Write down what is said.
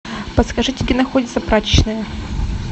подскажите где находится прачечная